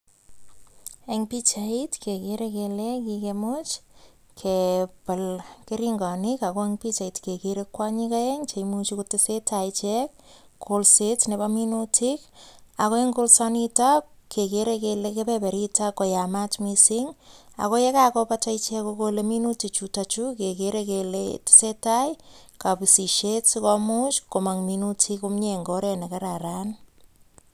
En pichait kegere kele keimuch kebal keringonik, ago en pichait kegere kwonyik oeng che imuchi kotesen tai ichek kolset nebo minutik ago en kolsanito kegeere kele kebeberito ko yamaat mising ago ye kagobata icheget kogole minutichu kegeere kele tesentai kobisisiet si omuch komong minutik komye en ngoret ne kararan